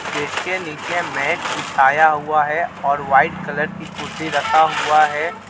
इसके निचे मेट बिछाया हुआ है और वाइट कलर की कुर्सी रखा हुआ है.